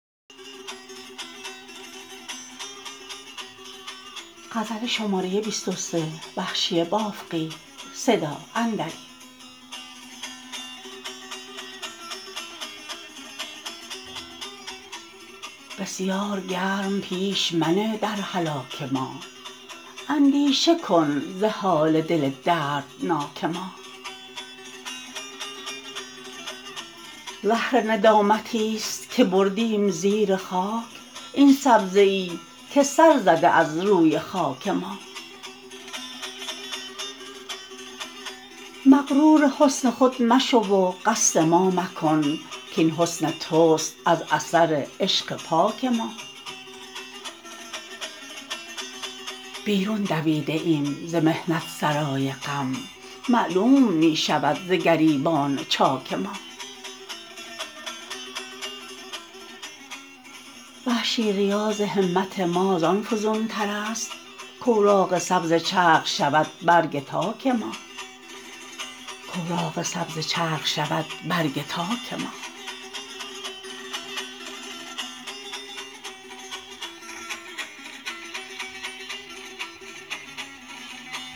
بسیار گرم پیش منه در هلاک ما اندیشه کن ز حال دل دردناک ما زهر ندامتی ست که بردیم زیر خاک این سبزه ای که سر زده از روی خاک ما مغرور حسن خود مشو و قصد ما مکن کاین حسن تست از اثر عشق پاک ما بیرون دویده ایم ز محنت سرای غم معلوم می شود ز گریبان چاک ما وحشی ریاض همت ما زان فزونتر است کاوراق سبز چرخ شود برگ تاک ما